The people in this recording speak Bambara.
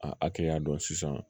A hakɛya dɔn sisan